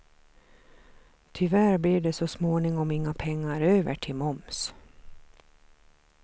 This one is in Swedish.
Tyvärr blev det så småningom inga pengar över till moms.